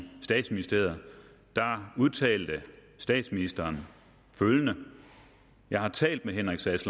statsministeriet udtalte statsministeren følgende jeg har talt med henrik sass